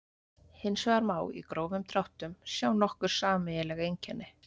Hins vegar má í grófum dráttum sjá nokkur sameiginleg einkenni.